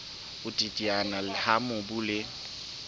ho teteana ha mobu le